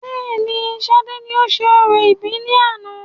Bẹẹni, sade ni ó ń ṣe orò ìbí ní àná